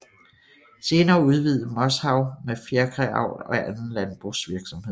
Senere udvidede Moshav med fjerkræavl og anden landbrugsvirksomheder